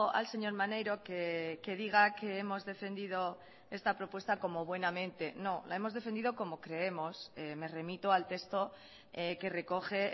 al señor maneiro que diga que hemos defendido esta propuesta como buenamente no la hemos defendido como creemos me remito al texto que recoge